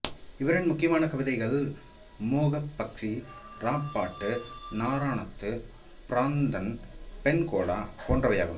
இவரின் முக்கியமான கவிதைகள் மோகபக்சி இராப்பாட்டு நாறாணத்து பிராந்தன் பெண்கொடா போன்றவையாகும்